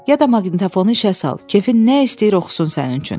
Ya da maqnitofonu işə sal, kefin nə istəyir oxusun sənin üçün.